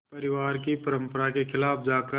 परिवार की परंपरा के ख़िलाफ़ जाकर